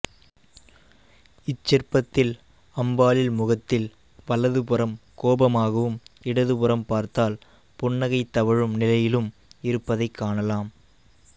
இச்சிற்பத்தில் அம்பாளில் முகத்தில் வலது புறம் கோபமாகவும் இடது புறம் பார்த்தால் புன்னகைத் தவழும் நிலையிலும் இருப்பதைக் காணலாம்